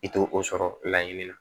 I t'o o sɔrɔ laɲini na